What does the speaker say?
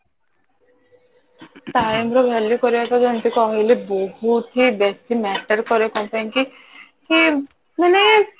time ର value କରିବାଟା ଯେମିତି କହିଲେ ବହୁତ ହି ବେଶୀ matter କରେ କଣ ପାଇଁ କି କି ମାନେ